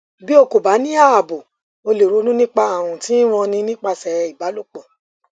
bí o kò bá ní ààbò o lè ronú nípa ààrùn tí ń ranni nípasẹ ìbálòpọ